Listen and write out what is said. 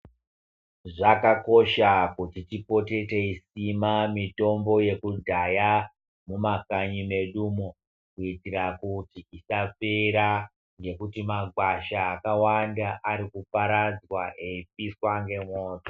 Zvakakosha kuti tipote teisima mitombo yekudhaya mumakanyi medumo kuitira kuti isapera ngekuti magwasha akawanda arikuparadzwa eipiswa ngemoto.